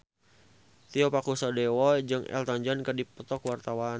Tio Pakusadewo jeung Elton John keur dipoto ku wartawan